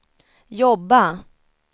jobba